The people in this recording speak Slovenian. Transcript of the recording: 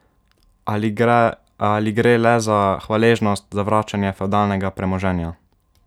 Ali gre le za hvaležnost za vračanje fevdalnega premoženja?